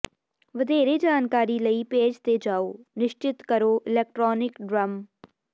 ਵਧੇਰੇ ਜਾਣਕਾਰੀ ਲਈ ਪੇਜ ਤੇ ਜਾਉ ਨਿਸ਼ਚਤ ਕਰੋ ਇਲੈਕਟ੍ਰਾਨਿਕ ਡਰੱਮ